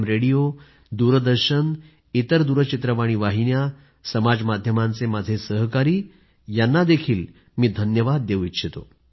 radio दूरदर्शन इतर दूरचित्रवाणी वाहिन्या समाज माध्यमांचे माझे सहकारी यांनाही मी धन्यवाद देऊ इच्छितो